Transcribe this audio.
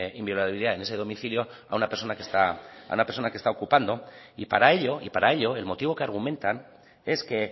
inviolabilidad en ese domicilio a una persona que está ocupando y para ello el motivo que argumentan es que